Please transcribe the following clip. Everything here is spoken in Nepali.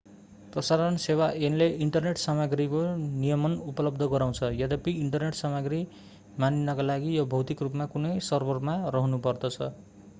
प्रसारण सेवा ऐनले इन्टरनेट सामग्रीको नियमन उपलब्ध गराउँछ यद्यपि इन्टरनेट सामग्री मानिनका लागि यो भौतिक रूपमा कुनै सर्भरमा रहनुपर्छ